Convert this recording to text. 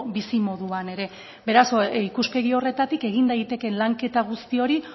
bizimoduan ere beraz ikuspegi horretatik egin daitekeen lanketa guzti hori